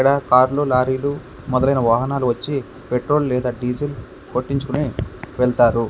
ఇక్కడ కార్లు లారీలు మొదలైన వాహనాలు వచ్చి పెట్రోల్ లేదా డీజిల్ కొట్టించుకొని వెళ్తారు.